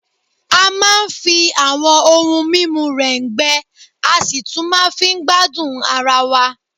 A máa ń fi àwọn ohun mímu rẹ̀ǹgbẹ, a sì tún máa fi ń gbádùn ara wa